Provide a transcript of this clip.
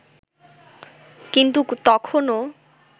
কিন্তু তখনো